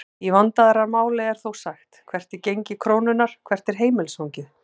Í vandaðra máli er þó sagt hvert er gengi krónunnar?, hvert er heimilisfangið?